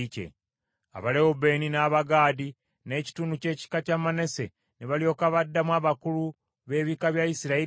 Abalewubeeni, n’Abagaadi, n’ekitundu ky’ekika kya Manase ne balyoka baddamu abakulu b’ebika bya Isirayiri nti,